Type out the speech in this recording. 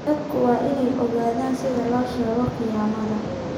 Dadku waa inay ogaadaan sida loo soo sheego khiyaamada.